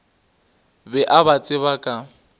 be a ba tseba ka